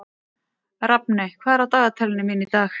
Rafney, hvað er á dagatalinu mínu í dag?